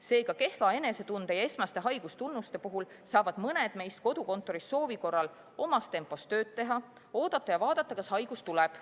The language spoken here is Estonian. Seega, kehva enesetunde ja esmaste haigustunnuste puhul saavad mõned meist kodukontoris soovi korral omas tempos tööd teha, oodata ja vaadata, kas haigus tuleb.